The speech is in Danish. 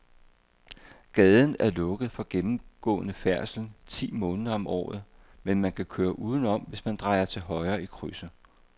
Gaden er lukket for gennemgående færdsel ti måneder om året, men man kan køre udenom, hvis man drejer til højre i krydset.